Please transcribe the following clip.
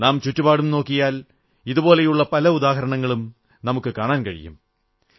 നാം ചുറ്റുപാടും നോക്കിയാൽ ഇതുപോലുള്ള പല ഉദാഹരണങ്ങളും നമുക്കു കാണാൻ കഴിയും